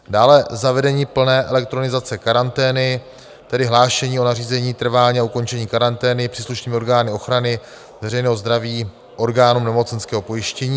Dále zavedení plné elektronizace karantény, tedy hlášení o nařízení, trvání a ukončení karantény příslušnými orgány ochrany veřejného zdraví orgánům nemocenského pojištění.